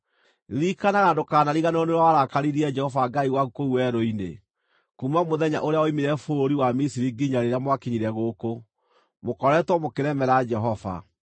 Ririkanaga na ndũkanariganĩrwo nĩ ũrĩa warakaririe Jehova Ngai waku kũu werũ-inĩ. Kuuma mũthenya ũrĩa woimire bũrũri wa Misiri nginya rĩrĩa mwakinyire gũkũ, mũkoretwo mũkĩremera Jehova.